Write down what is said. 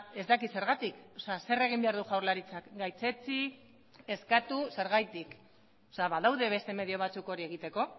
ez dakit zergatik zer egin behar du jaurlaritzak gaitzetsi eskatu zergatik badaude beste medio batzuk hori egiteko